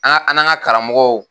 An an ka karamɔgɔw.